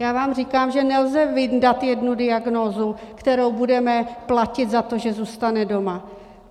Já vám říkám, že nelze vyndat jednu diagnózu, kterou budeme platit za to, že zůstane doma.